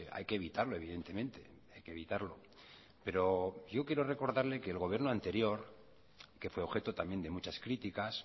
hay que evitarlo evidentemente hay que evitarlo pero yo quiero recordarle que el gobierno anterior que fue objeto también de muchas críticas